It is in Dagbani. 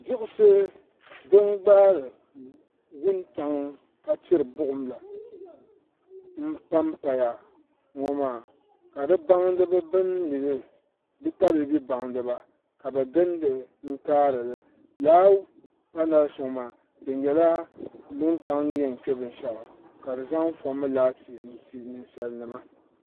diɣisi din gbaari wuntaŋ ka tiri buɣum la n paya ŋɔ maa ka di tabiibi baŋdiba ka bi gindi n kaarili laa panals ŋɔ maa di nyɛla wuntaŋ ni yɛn kpɛ binshaɣu ka di zaŋ foomi laati n ti ninsal nima